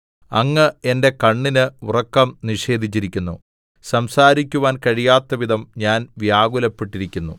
അങ്ങ് എന്റെ കണ്ണിന് ഉറക്കം നിഷേധിച്ചിരിക്കുന്നു സംസാരിക്കുവാൻ കഴിയാത്തവിധം ഞാൻ വ്യാകുലപ്പെട്ടിരിക്കുന്നു